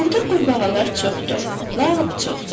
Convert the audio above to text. Burda qurbağalar çoxdur, lap çoxdur.